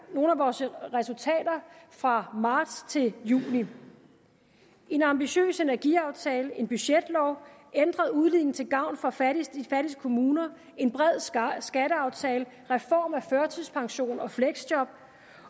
nogle af vores resultater fra marts til juni en ambitiøs energiaftale en budgetlov ændret udligning til gavn for de fattigste kommuner en bred skatteaftale reform af førtidspension og fleksjob